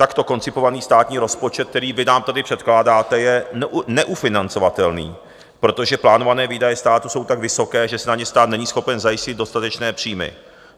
Takto koncipovaný státní rozpočet, který vy nám tady předkládáte, je neufinancovatelný, protože plánované výdaje státu jsou tak vysoké, že si na ně stát není schopen zajistit dostatečné příjmy.